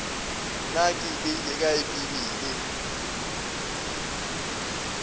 na ke beile kae bibele